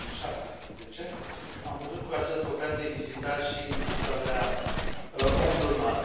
2017. Am putut, cu această ocazie, vizita și închisoarea Omdurman.